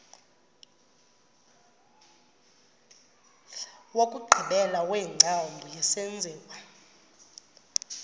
wokugqibela wengcambu yesenziwa